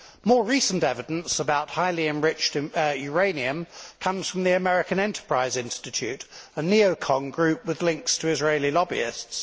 More recent evidence about highly enriched uranium comes from the American Enterprise Institute, a NeoCon group with links to Israeli lobbyists.